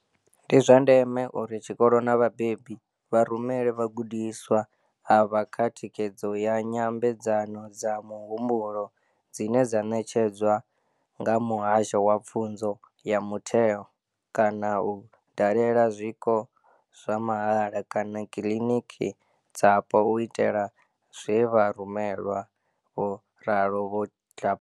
Ndi zwa ndeme uri tshikolo na vhabebi vha rumele vhagudiswa avha kha thikhedzo ya nya mbedzano dza muhumbulo, dzine dza ṋetshedzwa nga Muhasho wa Pfunzo ya Mutheo, kana u dalela zwiko zwa mahala kana kiḽiniki dzapo u itela zwe vha rumelwa, vho ralo Vho Tlhapane.